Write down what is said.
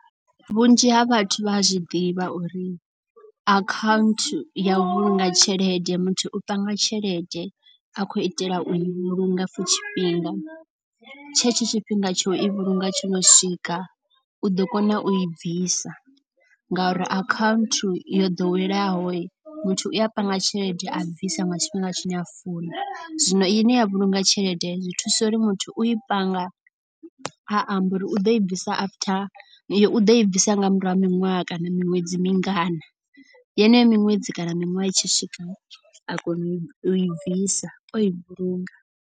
Vhunzhi ha vhathu vha a zwi ḓivha uri account ya u vhulunga tshelede muthu u panga tshelede a khou itela u i vhulunga for tshifhinga. Tshe tsho tshifhinga tsho i vhulunga tsho no swika u ḓo kona u i bvisa ngauri account yo ḓoweleaho muthu u a panga tshelede a bvisa nga tshifhinga tshine a funa. Zwino i ne ya vhulunga tshelede zwi thusa uri muthu u i panga a amba uri u ḓo i bvisa after. U ḓo i bvisa nga murahu ha miṅwaha kana miṅwedzi mingana yeneyo miṅwedzi kana miṅwaha i tshi swika a kona u i bvisa o i vhulunga.